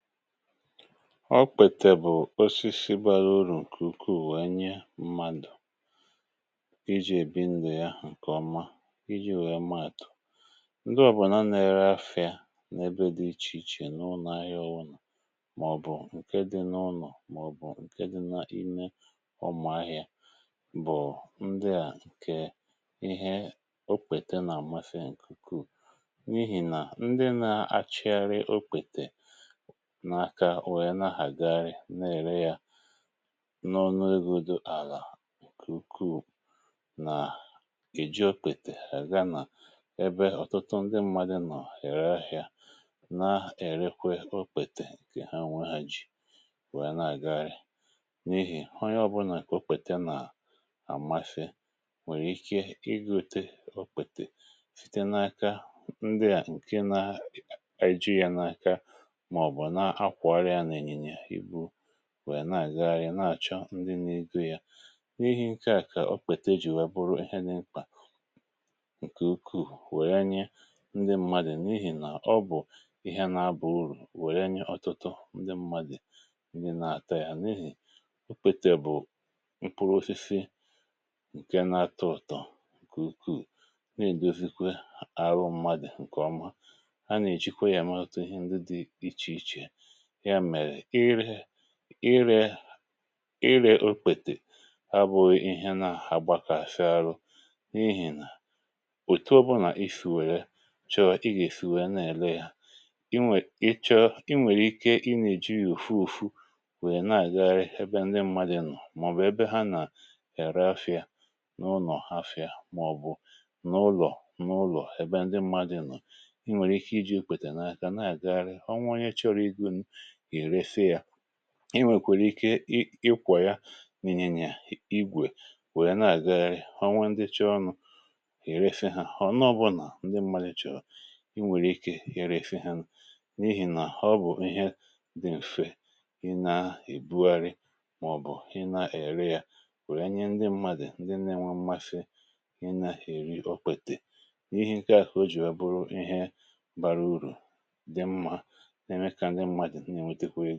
ọ kwètè bụ̀ osisi bàra urù ǹkè ukwuù wee nye mmadụ̀ iji̇ èbi ndù ya ǹkè ọma iji̇ wèe maàtụ̀ ndị ọ̀bụlà na-ere afịa n’ebe dị ichè ichè n’ụnọ̀ ahịa ọwụlà màọbụ̀ ǹke dị n’ụlọ̀ màọbụ̀ ǹke dị na-ime. ụmụ̀ ahịa bụ̀ ndị à ǹkè ihe o kwète n’àmmefe fee ǹkè ukwuù, n’ihì nà ndị na-achịgharị okwètè na-ere yȧ n’ọnụ ego dù àlà kùku nà èji okpètè ha gana ebe ọ̀tụtụ ndị mmadụ nọ̀ ère ahị̀a na-erekwe okpètè ǹkè ha nwe ha ji wèe na-àgagharị, n’ihì onye ọ̀bụlà kò okpètè nàà àmafė nwèrè ike ịgȯte okpètè site n’aka ndị à ǹke na igȧ yȧ n’aka ihe ha kwàra ya n’ènyìnyè ìbu nwèe nà-àgagharị na-àchọ ndị n’igo ya. ihe a kà o kpète e jì nwee bụrụ ihe n’imkpà ǹkè ukwuu wèe nye ndị mmadụ̀, n’ihì nà ọ bụ̀ ihe na-abà urù wèe nye ọtụtụ ndị mmadụ̀ ndị na-àta ya, n’ihì okpete bụ̀ mkpụrụ ofichi ǹke na-atụ ụ̀tọ kùkù nà-ègosikwe arụ mmadụ̀ ǹkè ọma. um a nà-èjikwa ya èmaụtụ ihe ndị dị ichè ichè, ya mèrè irė irė okwètè ha bụ ihe na-agbakọ̀ afịa arụ n’ihi̇ nà òtu ọbụna ifìwère chọọ igèfùrù na-èle ha inwèk. ị chọọ inwèrè ike ị na-eji yòfu ùfu wèe na-àgagharị ebe ndị mmadụ nọ̀ màọbụ ebe ha na-ère afịa n’ụnọ̀ hafịa màọbụ̀ n’ụlọ̀ ebe ndị mmadụ nọ̀. inwèrè ike iji̇ ekwète na-àgagharị, i nwèkwèrè ike ikwà ya n’inyènyè igwè wèe na-àgagharị onwe chọọ ọnụ̇ èrefe ha, họ̀ n’ọbụnà ndị mmadị chọ̀rọ̀, i nwèrè ike ya reefe ha, n’ihì nà ọ bụ̀ ihe dị̀mfe ị na-ebugharị̇ màọbụ̀ ị na-èri ya wèe nye ndị mmadị̀ ndị na-enwe mmafe ị na-eri okpètè. n’ihi ǹkè a kà o jì a bụrụ ihe bara urù ǹkè ọ̀zọ à wuru.